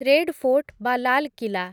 red Fort ବା ଲାଲ୍ କିଲା